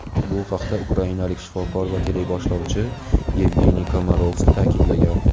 Bu haqda ukrainalik shifokor va teleboshlovchi Yevgeniy Komarovskiy ta’kidlagan.